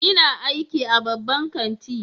Ina aiki a babban kanti.